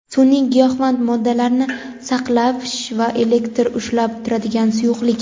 Sun’iy giyohvand moddalarni aniqlash va elektr ushlab turadigan suyuqlik.